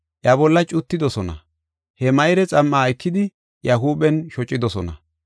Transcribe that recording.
Iya bolla cuttidosona. He mayre xam7aa ekidi, iya huuphen shocidosona.